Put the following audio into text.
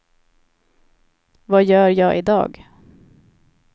vad gör jag idag